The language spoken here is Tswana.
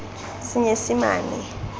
senyesimane